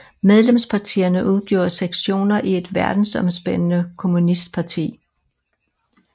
Medlemspartierne udgjorde sektioner i et verdensomspændende kommunistparti